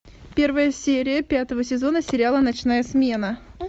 первая серия пятого сезона сериала ночная смена